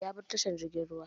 Ya bar tashan jirgin ruwan.